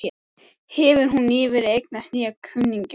Hefur hún nýverið eignast nýja kunningja?